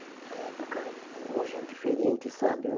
Na época, eh hoje é diferente, sabe?